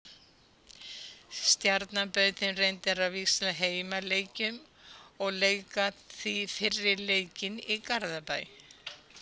Stjarnan bauð þeim reyndar að víxla heimaleikjum og leika því fyrri leikinn í Garðabæ.